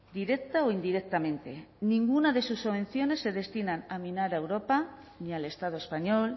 directa o indirectamente ninguna de sus subvenciones se destinan a minar a europa ni al estado español